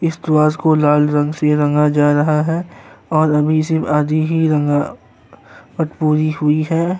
इस प्रवास को अलार्म से रंगा जा रहा है और अभी सिर्फ आदी ही रंगा वट पूरी हुई है।